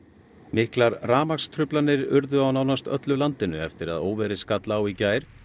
miklar rafmagnstruflanir urðu á nánast öllu landinu eftir að óveðrið skall á í gær